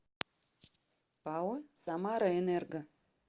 пао самараэнерго